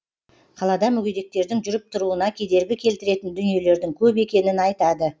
қалада мүгедектердің жүріп тұруына кедергі келтіретін дүниелердің көп екенін айтады